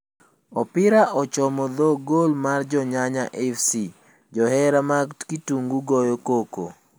Opira ochomo dho gol mar jo nyanya fc ,jo hera mag kitungu goyo koko.